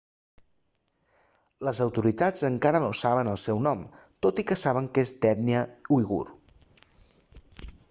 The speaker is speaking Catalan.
les autoritats encara no saben el seu nom tot i que saben que és d'ètnia uigur